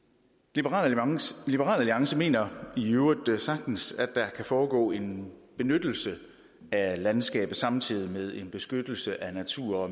liberal alliance mener i øvrigt at der sagtens kan foregå en benyttelse af landskabet samtidig med en beskyttelse af natur og